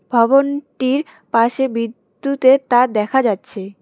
ভবনটির পাশে বিদ্যুতের তার দেখা যাচ্ছে।